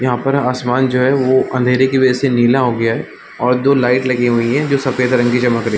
यहाँ पर आसमान है जो वो अँधेरे की वजह से नीला हो गया है और दो लाइट लगी हुई है जो सफ़ेद रंग की चमक रही --